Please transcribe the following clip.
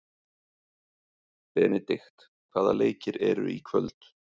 Benidikt, hvaða leikir eru í kvöld?